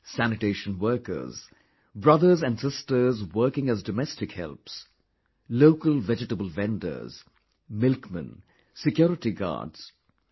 Sanitation workers, brothers and sisters working as domestic helps, local vegetable vendors, milkmen, security guards...